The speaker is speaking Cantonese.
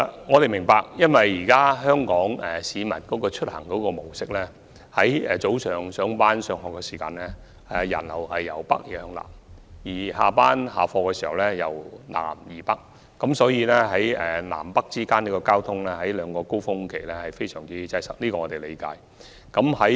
我們明白到，香港市民的出行模式，是早上上班及上學時人流由北向南，而傍晚下班及下課時人流則由南向北，所以南北之間的交通在這兩個高峰期非常擠塞，我們是理解的。